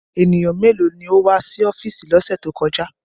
Ènìyàn méèló ni ó wá sí ọ́fíìsì lọ́sẹ̀ tí ó kọjá?